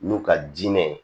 N'u ka diinɛ ye